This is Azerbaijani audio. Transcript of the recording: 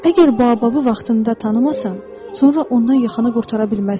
Əgər Baobabı vaxtında tanımasan, sonra ondan yaxanı qurtara bilməzsən.